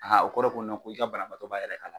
o kɔrɔ ye ko ko i ka banabaatɔ b'a yɛrɛ kalama.